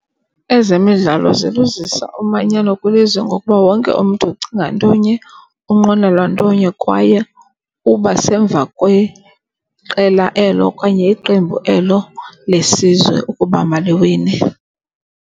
Ezemidlalo zibuzisa umanyano kwilizwe ngokuba wonke umntu ucinga ntonye, unqwenela ntonye kwaye uba semva kweqela elo okanye iqembu elo lesizwe ukuba maliwine.